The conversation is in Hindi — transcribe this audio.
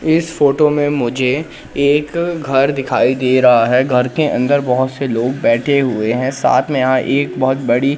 इस फोटो में मुझे एक घर दिखाई दे रहा है घर के अंदर बहोत से लोग बैठे हुए है साथ में यहां एक बहोत बड़ी--